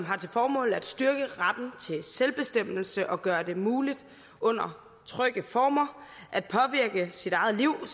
har til formål at styrke retten til selvbestemmelse og gøre det muligt under trygge former at påvirke eget liv